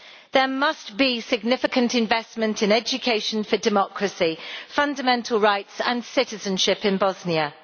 There must be significant investment in education for democracy, fundamental rights and citizenship in Bosnia.